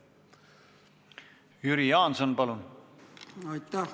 Jüri Jaanson, palun!